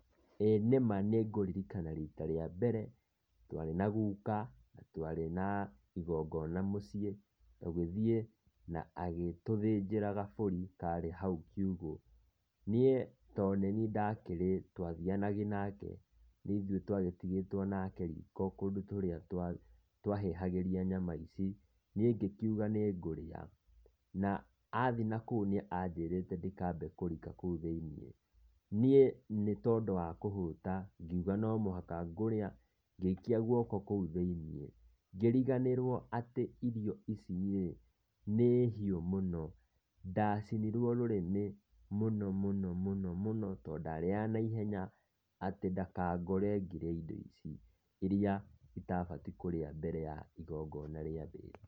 ĩĩ nĩ ma nĩ ngũririkana riita rĩa mbere, twarĩ na guka na twarĩ na igongona mũciĩ tũgĩthiĩ na agĩtũthĩnjĩra gabũri karĩ hau kiugũ. Niĩ to nĩniĩ ndakĩrĩ twathianagia nake nĩ ithuĩ twagĩtigĩtwo nake riiko kũndũ kũrĩa twahĩhagĩria nyama ici, niĩ ngĩkiuga nĩ ngũrĩa na aathi nakũu nĩ anjĩrĩte ndikambe kũrika kũu thĩiniĩ. Niĩ nĩ tondũ wa kũhũta, ngiuga no mũhaka ngũrĩa, ngĩikia guoko kũu thĩiniĩ ngĩriganĩrio atĩ irio icirĩ nĩ nĩ hiũ mũno ndacinirwo rũrĩmĩ mũno mũno mũno mũno to ndarĩaga naihenya atĩ ndakangore ngĩrĩa indo ici iria itabatiĩ kũrĩa mbere ya igongona rĩambĩtie